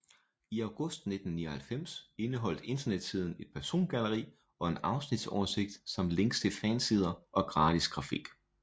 I august 1999 indeholdt internetsiden et persongalleri og en afsnitsoversigt samt links til fansider og gratis grafik